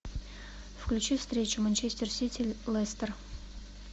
включи встречу манчестер сити лестер